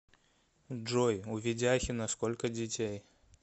джой у ведяхина сколько детей